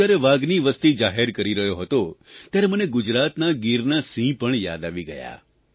હું જ્યારે વાઘની વસતિ જાહેર કરી રહ્યો હતો ત્યારે મને ગુજરાતના ગીરના સિંહ પણ યાદ આવી ગયા